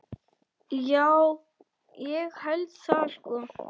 Já, ég held það sko.